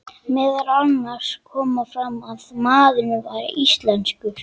Meðal annars kom fram að maðurinn væri íslenskur.